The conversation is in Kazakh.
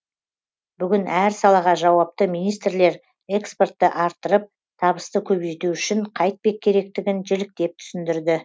бүгін әр салаға жауапты министрлер экспортты арттырып табысты көбейту үшін қайтпек керектігін жіліктеп түсіндірді